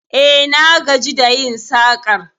E, na gaji da yin sakar